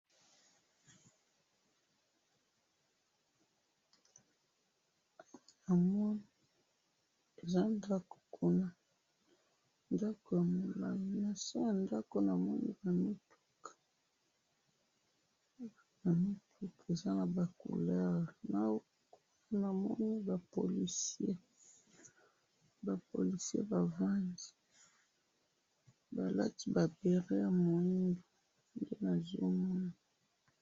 Namoni eza ndako kuna, nase yandako namoni bamutuka, bamutuka eza naba couleurs, namoni ba policies, ba policies bavandi, balati ba béret yaminene, nde nazomona